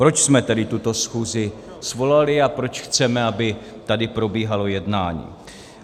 Proč jsme tedy tuto schůzi svolali a proč chceme, aby tady probíhalo jednání?